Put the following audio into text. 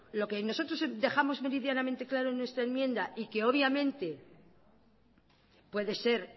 lo que nosotros dejamos meridianamente claro en esta enmienda y que obviamente puede ser